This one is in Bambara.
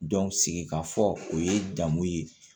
sigi ka fɔ o ye jamu ye